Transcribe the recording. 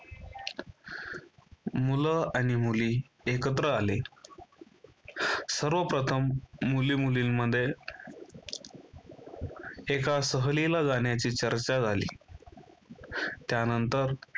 मुल आणि मुली एकत्र आले. सर्वप्रथम मुली मुलींमध्ये एका सहलीला जाण्याची चर्चा झाली त्यानंतर